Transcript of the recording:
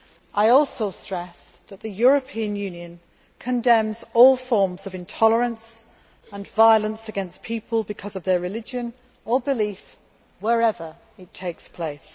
I also stressed that the European Union condemns all forms of intolerance and violence against people because of their religion, wherever it takes place.